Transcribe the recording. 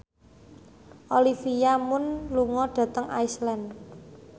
Olivia Munn lunga dhateng Iceland